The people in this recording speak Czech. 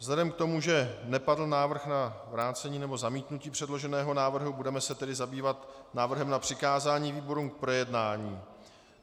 Vzhledem k tomu, že nepadl návrh na vrácení nebo zamítnutí předloženého návrhu, budeme se tedy zabývat návrhem na přikázání výborům k projednání.